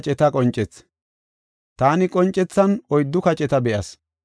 Taani qoncethan oyddu kaceta be7as.